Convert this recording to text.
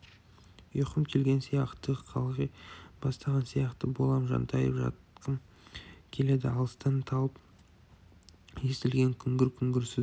ұйқым келген сияқты қалғи бастаған сияқты болам жантайып жатқым келеді алыстан талып естілген күңгір-күңгір сөз